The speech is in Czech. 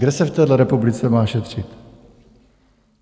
Kde se v téhle republice má šetřit?